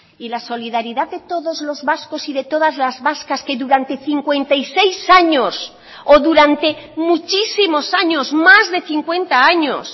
y la solidaridad de todos los vascos y de todas las vascas que durante cincuenta y seis años o durante muchísimos años más de cincuenta años